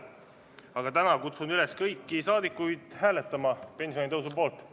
Aga täna kutsun üles kõiki saadikuid hääletama pensionitõusu poolt.